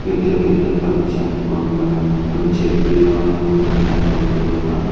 పెద్ద పెద్ద పచ్చని కొండలన్నీ మొత్తం చెట్లు అన్ని మొత్తం ఉన్నాయి ఆ కొండలోన.